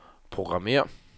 programmér